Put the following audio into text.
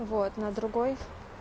вот на другой